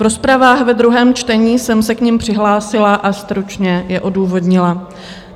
V rozpravách ve druhém čtení jsem se k nim přihlásila a stručně je odůvodnila.